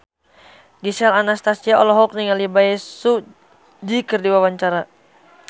Gisel Anastasia olohok ningali Bae Su Ji keur diwawancara